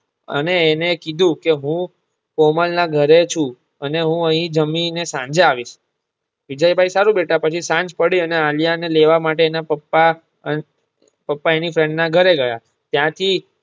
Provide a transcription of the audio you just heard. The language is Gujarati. અને એને કીધું કે હું કોમલના ઘરે છુ અને હું અહી જમી ને સાંજે આવીશ. વિજયભાઇ સારું બેટા પછી સાંજ પડી ને આલિયા ને લેવા માટે એના પપ્પા પપ્પા એની friend ના ઘરે ગયા ત્યાંથી